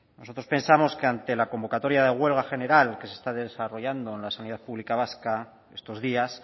nosotros pensamos que ante la convocatoria de huelga general que se está desarrollando en la sanidad pública vasca estos días